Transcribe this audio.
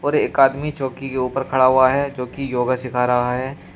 और एक आदमी चौकी के ऊपर खड़ा हुआ है जो की योगा सीखा रहा है।